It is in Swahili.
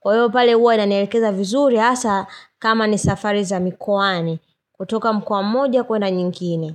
Kwa hiyo pale huwa ananielekeza vizuri hasa kama ni safari za mikuani. Kutoka mkwa moja kuenda nyingine.